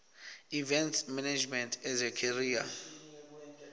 events management as a career